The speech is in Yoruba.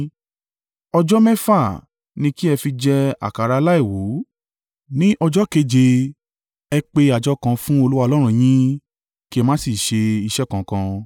Ọjọ́ mẹ́fà ní kí ẹ fi jẹ àkàrà aláìwú, ní ọjọ́ keje, ẹ pe àjọ kan fún Olúwa Ọlọ́run yín, kí ẹ má sì ṣe iṣẹ́ kankan.